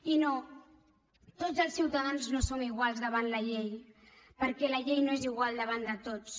i no tots els ciutadans no som iguals davant la llei perquè la llei no és igual davant de tots